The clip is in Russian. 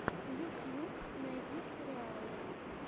ютьюб найди сериалы